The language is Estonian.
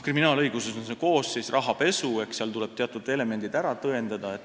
Kriminaalõiguses on koosseis "rahapesu", seal tuleb teatud elemendid ära tõendada.